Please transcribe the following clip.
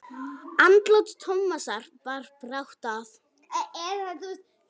Andlát Tómasar bar brátt að.